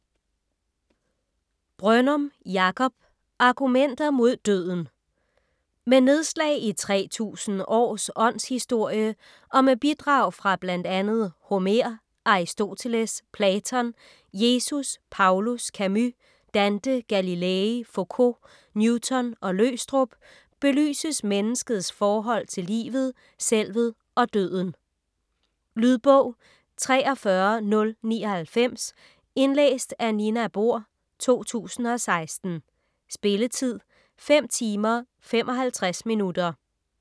Brønnum, Jakob: Argumenter mod døden Med nedslag i 3000 års åndshistorie, og med bidrag fra bl.a. Homer, Aristoteles, Platon, Jesus, Paulus, Camus, Dante, Galilei, Focault, Newton og Løgstrup, belyses menneskets forhold til livet, selvet og døden. Lydbog 43099 Indlæst af Nina Bohr, 2016. Spilletid: 5 timer, 55 minutter.